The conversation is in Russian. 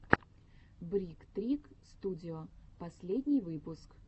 брик трик студио последний выпуск